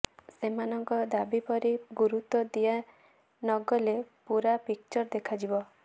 ସେମାନଙ୍କ ଦାବି ପ୍ରତି ଗୁରୁତ୍ୱ ଦିଆ ନ ଗଲେ ପୂରା ପିକଚର ଦେଖାଯିବ